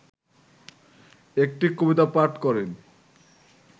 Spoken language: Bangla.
একটি কবিতা পাঠ করেন